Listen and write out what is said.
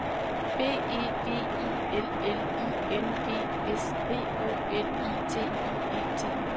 B E V I L L I N G S P O L I T I E T